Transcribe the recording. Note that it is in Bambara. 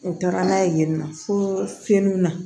U taara n'a ye yen nɔ fo finiw na